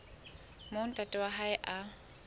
moo ntate wa hae a